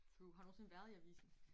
True har du nogensinde været i avisen